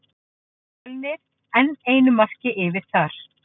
Fjölnir enn einu marki yfir þar.